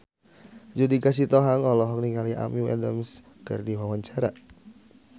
Judika Sitohang olohok ningali Amy Adams keur diwawancara